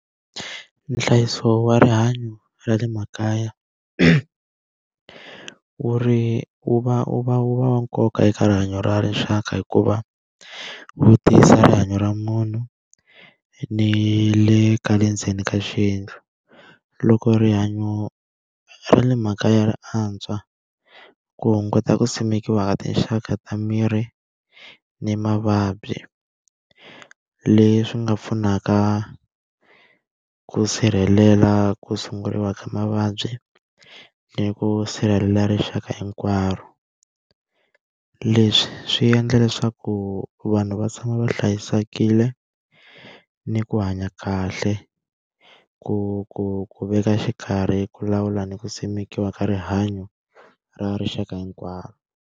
Nhlayiso wa rihanyo ra le makaya wu wu va wu va wu va wa nkoka eka rihanyo ra leswaku hi ku va wu tiyisa rihanyo ra munhu ni le ka le ndzeni ka swiendlo. Loko rihanyo ra le mhaka ya ri antswa ku hunguta ku simekiwa ka tinxaka ta miri ni mavabyi, leswi nga pfunaka ku sirhelela ku sunguriwa ka mavabyi ni ku sirhelela rixaka hinkwaro. Leswi swi endla leswaku vanhu va tshama va hlayisekile, ni ku hanya kahle, ku ku ku veka xikarhi, ku lawula ni ku simekiwa ka rihanyo ra rixaka hinkwaro.